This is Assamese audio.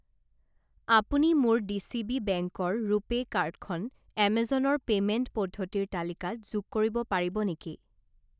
আপুনি মোৰ ডিচিবি বেংকৰ ৰুপে কাৰ্ড খন এমেজনৰ পে'মেণ্ট পদ্ধতিৰ তালিকাত যোগ কৰিব পাৰিব নেকি?